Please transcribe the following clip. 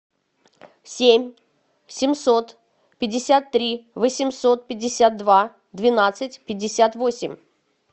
семь семьсот пятьдесят три восемьсот пятьдесят два двенадцать пятьдесят восемь